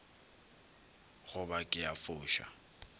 go ba ke a foša